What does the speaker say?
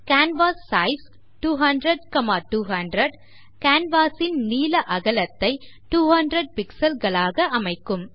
canvas size 200200 canvas ன் நீள அகலத்தை 200 pixel களாக அமைக்கும்